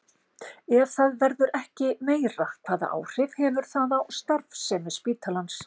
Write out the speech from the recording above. Ef það verður ekki meira, hvaða áhrif hefur það á starfsemi spítalans?